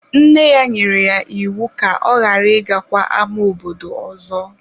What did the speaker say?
Nne ya nyere ya iwu ka ọ ghara ịgakwa ama obodo ọzọ!